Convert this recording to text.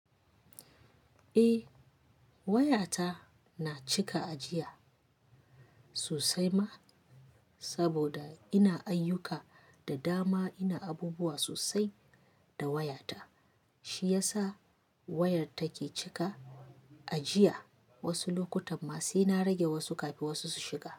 Eh wayata na cika ajiya sosai ma saboda ina ayyuka da dama, ina abubuwa sosai da wayata shi yasa wayar take cika ajiya. Wasu lokutan ma sai na rage wasu kafin wasu su shiga.